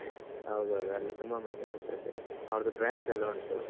ಹೌದೌದು ಅಲ್ಲಿ ತುಂಬ ಮಂದಿ ಬರ್ತಾ ಇದ್ದಾರೆ. ಅವ್ರ್ದು branch ಎಲ್ಲ ಉಂಟು.